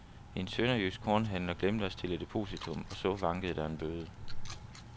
En sønderjysk kornhandler glemte at stille depositum og så vankede der bøde.